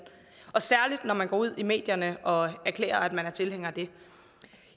og særligt når man går ud i medierne og erklærer at man er tilhænger af det